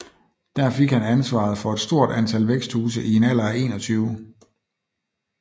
Der fik han ansvaret for et stort antal væksthuse i en alder af 21